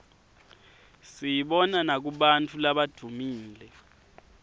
siyibona nakubantfu labadvumile